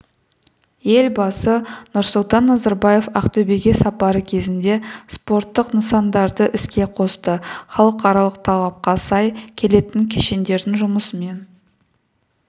елбасы нұрсұлтан назарбаев ақтөбеге сапары кезінде спорттық нысандарды іске қосты халықаралық талапқа сай келетін кешендердің жұмысымен